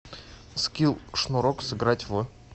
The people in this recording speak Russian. скилл шнурок сыграть в